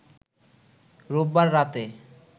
রোববার রাতে